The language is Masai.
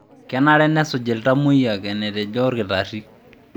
Kenare nesuj iltamoyiak enetejo olkitarri.